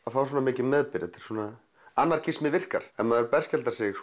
að fá svona mikinn meðbyr þetta svona anarkismi virkar ef maður berskjaldar sig